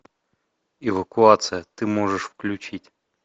эвакуация ты можешь включить